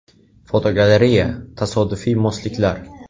Fotogalereya: Tasodifiy mosliklar.